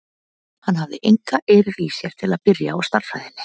Hann hafði enga eirð í sér til að byrja á stærðfræðinni.